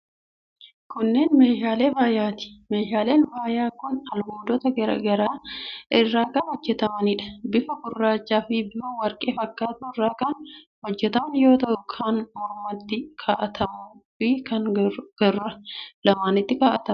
Kunneen meeshaalee faayaati. Meeshaaleen faayaa kun albuudota garaa garaa irraa kan hojjetamaniidha. Bifa gurraachaa fi bifa warqee fakkaatu irraa kan hojjetaman yoo ta'u, kan mormatti kaa'atamuu fi kan gurra lamaanitti ka'atamuudha.